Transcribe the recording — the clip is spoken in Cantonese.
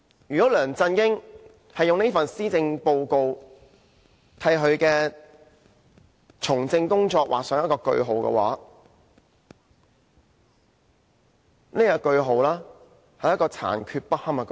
如果梁振英以這份施政報告為他從政的工作劃上句號的話，這是一個殘缺不堪的句號。